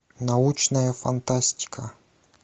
научная фантастика